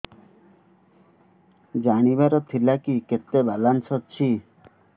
ଜାଣିବାର ଥିଲା କି କେତେ ବାଲାନ୍ସ ଅଛି